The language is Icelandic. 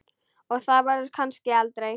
Og það verður kannski aldrei.